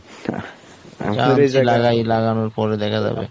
গাছ লাগাই লাগানোর পরে দেখা যাবে